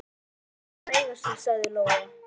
Láttu þetta bara eiga sig, sagði Lóa.